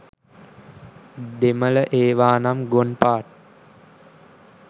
දෙමල ඒවානම් ගොන් පාටි.